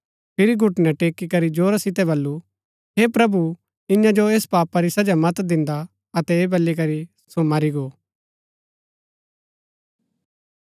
फिरी घुटनै टेकीकरी जोरा सितै बल्लू हे प्रभु इन्या जो ऐस पापा री सजा मत दिन्दा अतै ऐह बली करी सो मरी गो